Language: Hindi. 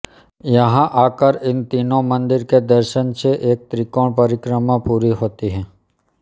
यहाँ आकर इन तीनों मंदिर के दर्शन से एक त्रिकोण परिक्रमा पूरी होती है